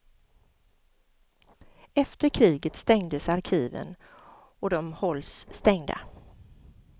Efter kriget stängdes arkiven och de hålls stängda.